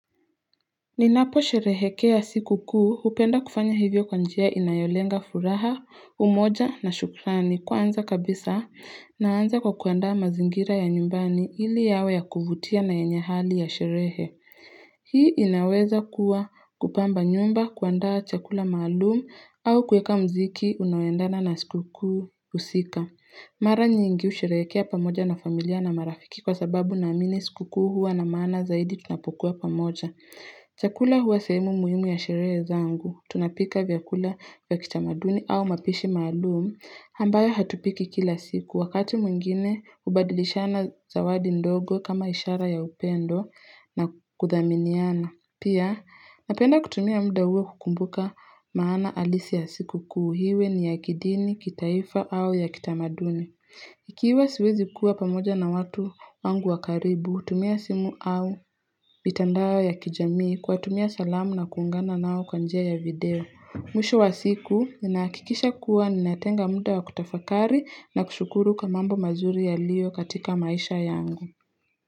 Ninapo sherehekea sikukuu hupenda kufanya hivyo kwa njia inayolenga furaha, umoja na shukrani kwaanza kabisa naanza kwa kuandaa mazingira ya nyumbani ili yawe ya kuvutia na yenye hali ya sherehe. Hii inaweza kuwa kupamba nyumba, kuanda chakula maalumu au kuweka muziki unaoendana na sikukuu husika. Mara nyingi husherekea pamoja na familia na marafiki kwasababu naamini sikukuu huwa na maana zaidi tunapokuwa pamoja. Chakula huwa sehemu muhimu ya sherehe zangu. Tunapika vyakula vya kitamaduni au mapishi maalumu ambayo hatupiki kila siku. Wakati mwingine, hubadilishana zawadi ndogo kama ishara ya upendo na kuthaminiana. Pia, napenda kutumia muda huwa kukumbuka maana halisi ya sikukuu iwe ni ya kidini, kitaifa au ya kitamaduni. Ikiwa siwezi kuwa pamoja na watu wangu wa karibu, hutumia simu au mitandao ya kijamii kuwatumia salamu na kuungana nao kwa njia ya video Mwisho wa siku ninahakikisha kuwa ninatenga muda wa kutafakari na kushukuru kwa mambo mazuri yaliyo katika maisha yangu.